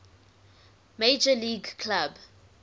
major league club